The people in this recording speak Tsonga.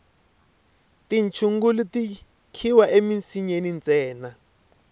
tichungulu ti khiwa emisinyeni ntsena